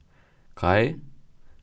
Kaj?